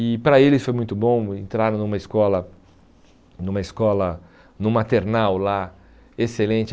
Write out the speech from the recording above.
E para eles foi muito bom entrar numa escola, numa escola no maternal lá, excelente.